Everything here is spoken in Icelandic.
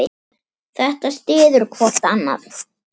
Þetta styður hvort annað.